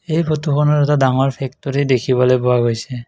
এই ফটোখনত এটা ডাঙৰ ফেক্টৰী দেখিবলৈ পোৱা গৈছে।